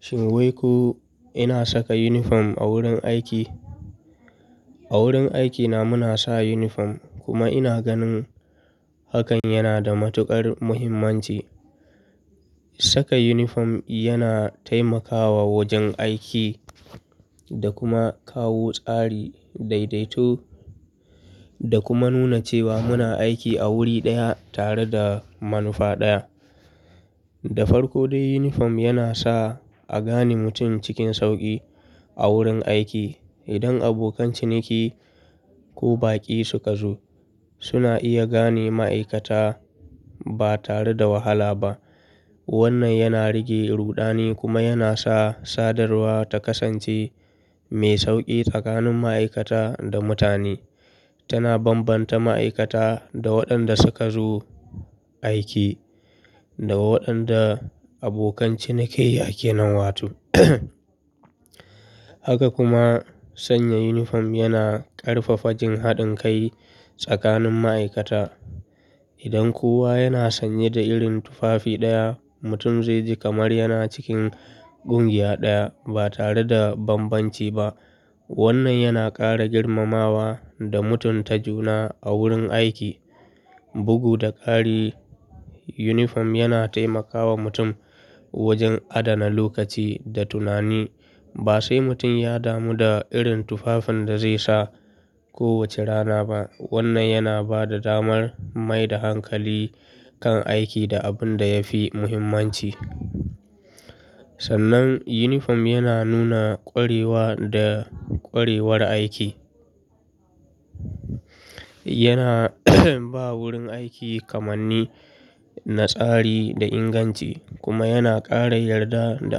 Shin wai ko ina saka yunifom a wurin aiki? A wurin aikina muna sa yunifom kuma ina ganin hakan yana da matuƙar muhimmanci. Saka yunifom yana taimakawa wajen aiki da kuma kawo tsari, daidaito da kuma nuna cewa muna aiki a wuri ɗaya tare da manufa ɗaya. Da farko dai yunifom yana sa a gane mutum cikin sauƙi a wurin aiki. Idan abokan ciniki ko baƙi suka zo suna iya gane ma'aikata ba tare da wahala ba. Wannan yana rage ruɗani kuma yana sa sadarwa ta kasance mai sauƙi tsakanin ma'aikata da mutane. Tana bambanta ma'aikata da waɗanda suka zo aiki da waɗanda abokan cinikayya ke nan wato. Haka kuma sanya yunifom yana ƙarfafa jin haɗin kai tsakanin ma'aikata. Idan kowa yana sanye da irin tufafi ɗaya mutum zai ji kamar yana cikin ƙungiya ɗaya ba tare da bambanci ba. Wannan yana ƙara girmamawa da mutunta juna a wurin aiki. Bugu da ƙari, yunifom yana taimakawa mutum wajen adana lokaci da tunani. Ba sai mutum ya damu da irin tufafin da zai sa kowace rana ba. Wannan yana ba da damar mai da hankali kan aiki da abin da ya fi muhimmanci. Sannan yunifom yana nuna ƙwarewa da ƙwarewar aiki. Yana ba wurin aiki kamanni, na tsari da inganci kuma yana ƙara yarda da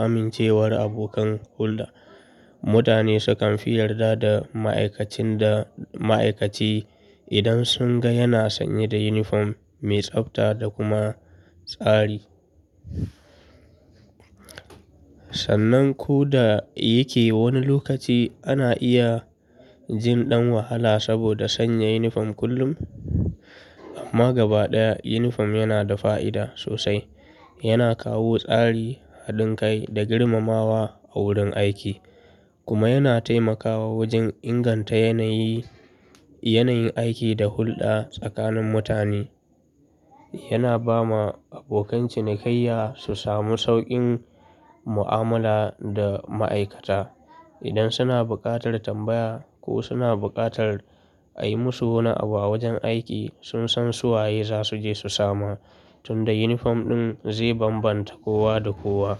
amincewar abokan hulɗa. Mutane sukan fi yarda da ma'aikacin da ma'aikaci idan sun ga yana sanye da yunifom mai tsabta da kuma tsari. Sannan ko da yake wani lokaci ana iya jin ɗan wahala saboda sanya yunifom kullum, amma gaba ɗaya yunifom yana da fa'ida sosai. Yana kawo tsari, haɗin kai da girmamawa a wurin aiki kuma yana taimakawa wajen inganta yanayi, yanayin aiki da hulɗa tsakanin mutane. Yana ba ma abokan cinikayya su samu sauƙin mu'amala da ma'aikata. Idan suna buƙatar tambaya ko suna buƙatar a yi musu wani abu wajen aiki sun san su waye za su je su samu tunda yunifom ɗin zai bambanta kowa da kowa.